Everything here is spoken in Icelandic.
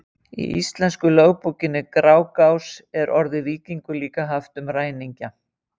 í íslensku lögbókinni grágás er orðið víkingur líka haft um ræningja